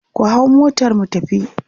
ku hau motar mu tafi!